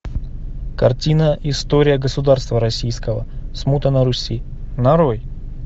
картина история государства российского смута на руси нарой